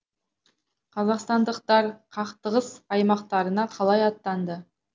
қазақстандықтар қақтығыс аймақтарына қалай аттанды